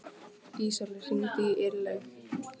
Ísólfur, hringdu í Irlaug.